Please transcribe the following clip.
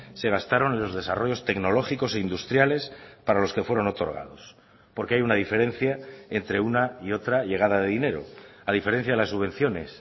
se gastaron en los desarrollos tecnológicos e industriales para los que fueron otorgados porque hay una diferencia entre una y otra llegada de dinero a diferencia de las subvenciones